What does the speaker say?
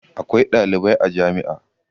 Akwai ɗalibai a jami'a.